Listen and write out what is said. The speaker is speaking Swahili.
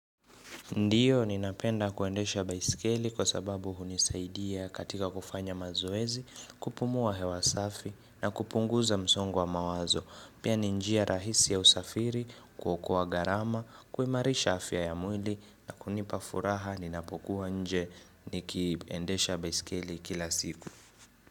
Ndiyo, ninapenda kuendesha baisikeli kwa sababu hunisaidia katika kufanya mazoezi, kupumua hewa safi na kupunguza msongo wa mawazo. Pia ni njia rahisi ya usafiri, kuokoa gharama, kuimarisha afya ya mwili na kunipa furaha ninapokuwa nje nikiendesha baisikeli kila siku.